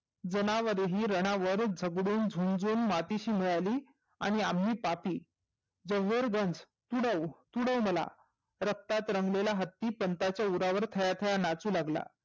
जनावरेही रनावर झगडून झुंजून मातीशी मिळाली आणि आम्ही पापी जोहर गंज तुडव तुडव मला. रक्तात रंगलेला हात्ती पंताच्या उरावर थया थया नाचू लागला.